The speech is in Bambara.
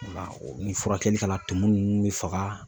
Ni furakɛli kana tumu ninnu bɛ faga.